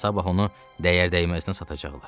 Sabah onu dəyərdəyməzə satacaqlar.